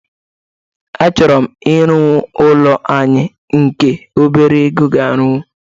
Achọrọ m irụ ụlọ anị nke ọbere ego ga-arụnwụ.